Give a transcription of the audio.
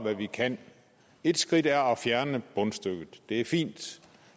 hvad vi kan et skridt er at fjerne bundstykket det er fint